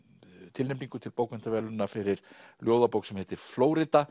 tilnefningu til bókmenntaverðlauna fyrir ljóðabók sem heitir Flórída